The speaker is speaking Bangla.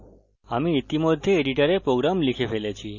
আমি ইতিমধ্যে editor program লিখে ফেলেছি